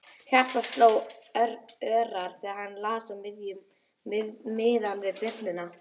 Hjartað sló örar þegar hann las á miðann við bjölluna.